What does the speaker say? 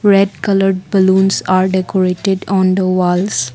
red coloured balloons are decorated on the walls.